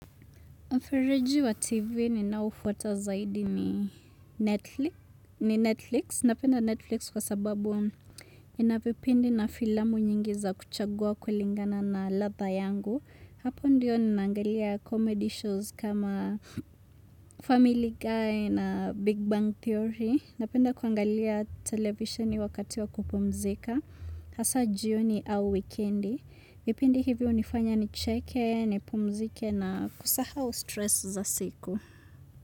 Mfereji wa TV ninao ufuata zaidi ni Netflix ni Netflix. Napenda Netflix kwa sababu inavipindi na filamu nyingi za kuchagua kulingana na ladha yangu. Hapo ndiyo ninangalia comedy shows kama Family Guy na Big Bang Theory. Napenda kuangalia televisioni wakati wa kupumzika. Hasa jioni au wikendi. Vipindi hivyo hunifanya nicheke, nipumzike na kusahau stress za siku.